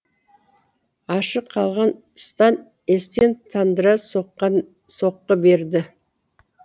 ашық қалған тұстан естен тандыра соққы берді